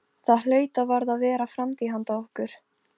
Það hlaut og varð að vera framtíð handa okkur.